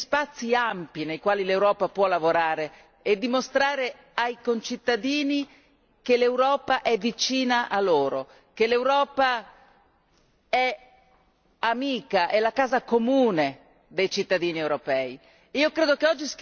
Ci sono invece spazi ampi nei quali l'Europa può lavorare e dimostrare ai concittadini che l'Europa è vicina a loro, che l'Europa è amica, è la casa comune dei cittadini europei.